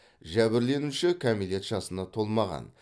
жәбірленуші кәмелет жасына толмаған